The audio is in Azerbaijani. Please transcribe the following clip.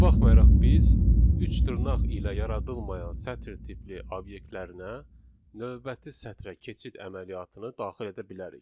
Buna baxmayaraq biz üç dırnaq ilə yaradılmayan sətr tipli obyektlərinə növbəti sətrə keçid əməliyyatını daxil edə bilərik.